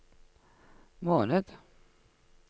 måned